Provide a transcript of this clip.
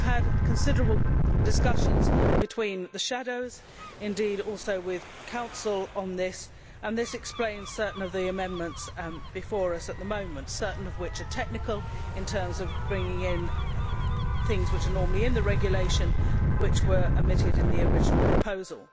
But we have had considerable discussions between the shadows and also with the Council on this, and this explains certain of the amendments before us at the moment, certain of which are technical in terms of bringing in things which are normally in the regulation, which were omitted in the original proposal.